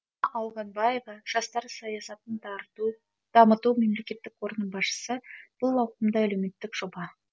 ауғанбаева жастар саясатын дамыту мемлекеттік қорының басшысы бұл ауқымды әлеуметтік жоба